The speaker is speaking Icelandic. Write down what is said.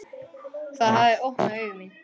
Það hafði opnað augu mín.